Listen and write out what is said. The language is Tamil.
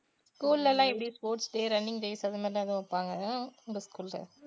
school லலாம் எப்படி sports day running days அந்த மாதிரியெல்லாம் எதுவும் வைப்பாங்களா உங்க school ல?